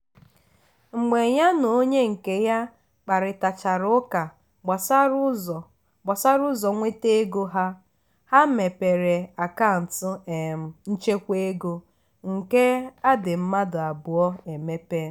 mgbe ya na onye nke ya kparịtachara ụka gbasara ụzọ gbasara ụzọ nweta ego ha ha mepere akant um nchekwa ego nke adị mmadụ abụọ emepe.